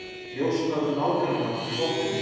Njósnað um nágrannann í pottinum